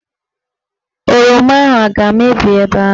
Oroma ahụ aga-emebi ebe ahụ?